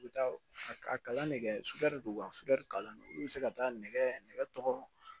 U bɛ taa a kalan ne kɛ sutɛri de don wa suderi kalan don olu bɛ se ka taa nɛgɛ tɔgɔ